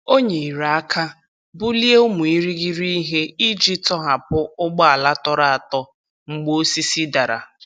Ha nyere aka bulie ụmụ irighiri ihe iji tọhapụ ụgbọala tọrọ atọ mgbe osisi dara.